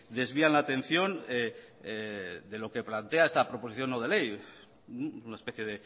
desvían la atención de lo que plantea esta proposición no de ley una especie